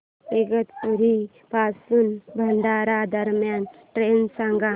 इगतपुरी पासून भंडारा दरम्यान ट्रेन सांगा